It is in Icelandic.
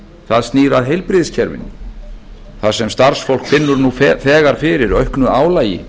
það snýr að heilbrigðiskerfinu þar sem starfsfólk finnur nú þegar fyrir auknu álagi